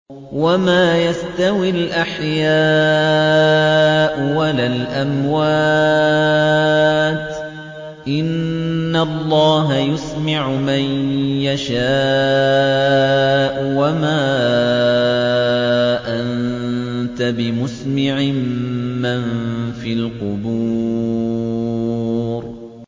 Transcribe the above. وَمَا يَسْتَوِي الْأَحْيَاءُ وَلَا الْأَمْوَاتُ ۚ إِنَّ اللَّهَ يُسْمِعُ مَن يَشَاءُ ۖ وَمَا أَنتَ بِمُسْمِعٍ مَّن فِي الْقُبُورِ